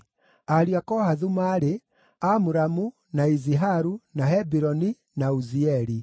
Ariũ a Kohathu maarĩ: Amuramu, na Iziharu, na Hebironi, na Uzieli.